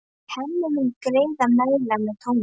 Hemmi mun greiða meðlag með Tómasi.